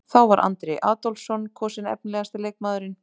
Þá var Andri Adolphsson kosinn efnilegasti leikmaðurinn.